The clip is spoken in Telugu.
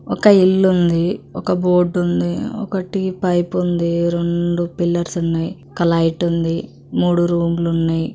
ఒక ఇల్లుంది ఒక బోర్డుఉంది ఒకటి పైప్ ఉంది రోన్డు పిల్లర్స్ ఉన్నయ్ ఒక లైటుంది ముడు రూములున్నయ్.